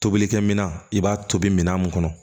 Tobilikɛminan i b'a tobi minɛn mun kɔnɔ